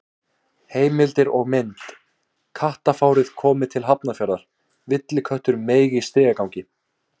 Heimildir og mynd: Kattafárið komið til Hafnarfjarðar: Villiköttur meig í stigagangi.